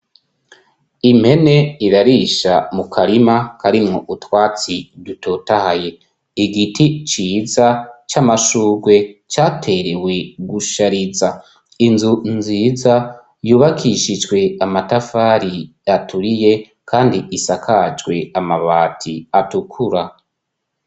Impene irarisha mu karima karimwo utwatsi dutotaye. Igiti ciza c'amashurwe caterewe gushariza inzu nziza, yubakishijwe amatafari aturiye. Kandi isakajwe amabati atukura.